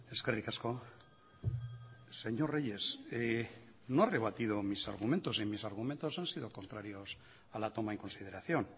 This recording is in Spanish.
eskerrik asko señor reyes no ha rebatido mi argumento y mis argumentos han sido contrarios a la toma en consideración